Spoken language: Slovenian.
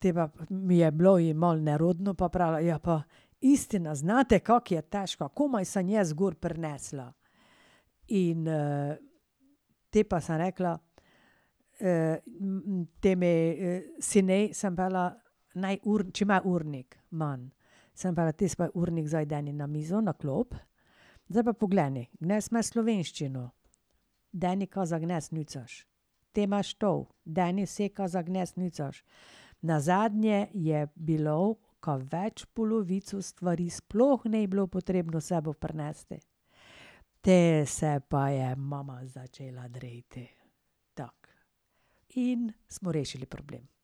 Te pa, mi je bilo, je malo nerodno, pa je pravila: "Ja, pa, ne znate kako je težka, komaj sem jaz gor prinesla." In potem pa sem rekla: temu sinu sem pravila, naj če ima urnik ..." Sem pravila: "Tisti svoj urnik zdaj deni na mizo, na klop. Zdaj pa pogleni, danes imaš slovenščino. Deni, kaj za danes nucaš, te imaš to, deni vse, ka za danes nucaš." Nazadnje je bilo, kaj več polovico stvari sploh ni bilo potrebno s sabo prinesti. Te se pa je mama začeli dreti. Tako, in smo rešili problem.